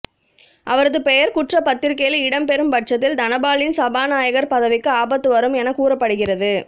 அவரது பெயர் குற்றப் பத்திக்கையில் இடம் பெறும் பட்சத்தில் தனபாலின் சபாநாயகர் பதவிக்கு ஆபத்து வரும் என கூறப்படுகிறது